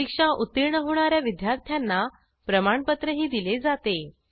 परीक्षा उत्तीर्ण होणा या विद्यार्थ्यांना प्रमाणपत्रही दिले जाते